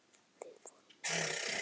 Við vorum úti í